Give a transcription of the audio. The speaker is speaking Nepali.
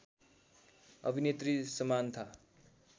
अभिनेत्री समान्था